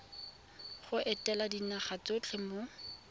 go etela dinaga tsotlhe mo